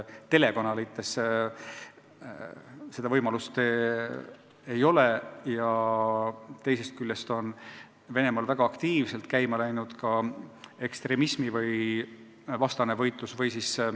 Teisest küljest on Venemaal väga aktiivselt käima läinud ekstremismivastane võitlus.